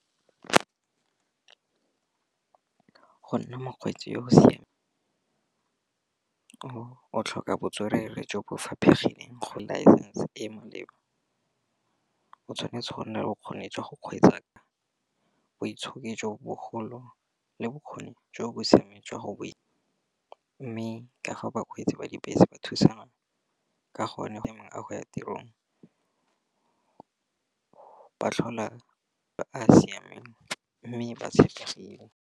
Go nna mokgweetsi yo o siameng. O tlhoka botswerere jo bo faphegileng go laesesnse e maleba, o tshwanetse go nna le bokgoni jwa go kgweetsa boitshoki jo bogolo le bokgoni jo bo siameng jwa go mme ka fa bakgweetsi ba dibese ba thusana ka gonne fa mongwe a go ya tirong. Ba tlhola ba siame mme ba tshepegile.